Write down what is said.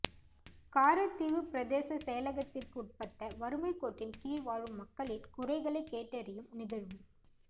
காரைதீவு பிரதேச செயலகத்திற்குட்பட்ட வறுமைக் கோட்டின் கீழ் வாழும் மக்களின் குறைகளை கேட்டறியும் நிகழ்வு